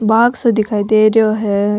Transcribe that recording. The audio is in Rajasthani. बाग़ सो दिखाई दे रेहो है।